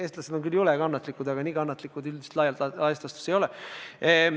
Eestlased on küll jõle kannatlikud, aga nii kannatlikud üldiselt laias laastus ei olda.